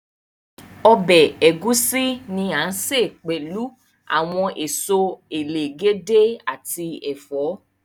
Ọbẹ ẹgusi ni a ǹ se pẹlu awọn èsó èlègédé ati ẹfọ.